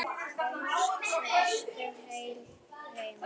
Komst næstum heil heim.